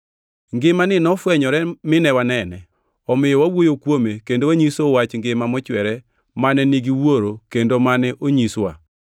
Ngimani nofwenyore mine wanene, omiyo wawuoyo kuome, kendo wanyisou wach ngima mochwere mane nigi Wuoro kendo mane onyiswa.